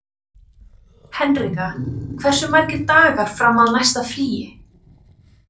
Henrika, hversu margir dagar fram að næsta fríi?